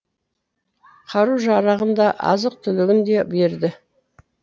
қару жарағын да азық түлігін де берді